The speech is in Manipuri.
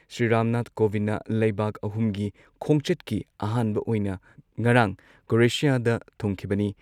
ꯁ꯭ꯔꯤ ꯔꯥꯝꯅꯥꯊ ꯀꯣꯚꯤꯟꯗꯅ ꯂꯩꯕꯥꯛ ꯑꯍꯨꯝꯒꯤ ꯈꯣꯡꯆꯠꯀꯤ ꯑꯍꯥꯟꯕ ꯑꯣꯏꯅ ꯉꯔꯥꯡ ꯀ꯭ꯔꯣꯑꯦꯁꯤꯌꯥꯗ ꯊꯨꯡꯈꯤꯕꯅꯤ